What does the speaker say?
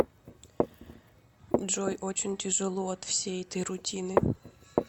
джой очень тяжело от всей этой рутины